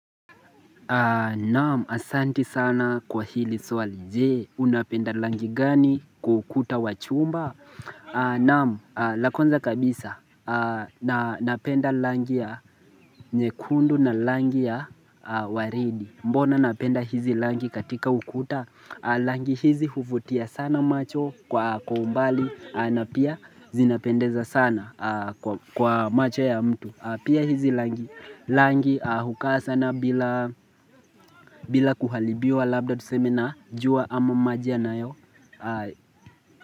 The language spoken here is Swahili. Naam asanti sana kwa hili swali je unapenda langi gani kwa ukuta wachumba Naam lakwanza kabisa napenda langi ya nyekundu na langi ya waridi Mbona napenda hizi langi katika ukuta Langi hizi huvutia sana macho kwa umbali na pia zinapendeza sana kwa macho ya mtu Pia hizi langi hukaa sana bila kuhalibiwa Labda tuseme na jua ama maji yana yo.